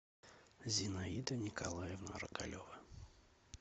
зинаида николаевна рогалева